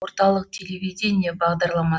орталық телевидение бағдарлама